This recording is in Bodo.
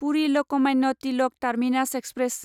Puri Lokmanya Tilak terminus express